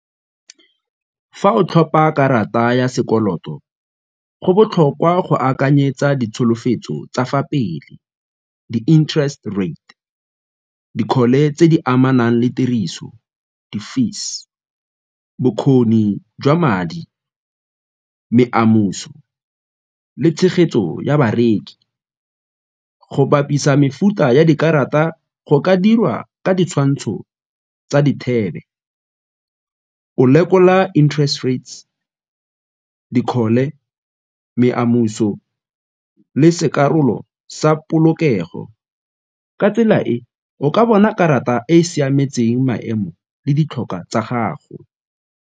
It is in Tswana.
Fa o tlhopa karata ya sekoloto go botlhokwa go akanyetsa ditsholofetso tsa fa pele, di-interest rate, dikgole tse di amanang le tiriso di-fees, bokgoni jwa madi, le tshegetso ya bareki. Go bapisa mefuta ya dikarata go ka dirwa ka ditshwantsho tsa , o lekola interest rates dikgole le sekarolo sa polokego, ka tsela e o ka bona karata e e siametseng maemo le ditlhokwa tsa gago.